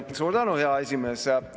Suur tänu, hea esimees!